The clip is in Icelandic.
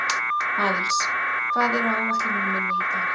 Aðils, hvað er á áætluninni minni í dag?